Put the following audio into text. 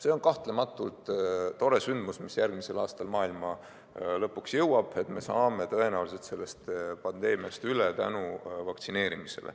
See on kahtlematult tore sündmus, mis järgmisel aastal maailma lõpuks jõuab, et me saame tõenäoliselt pandeemiast üle tänu vaktsineerimisele.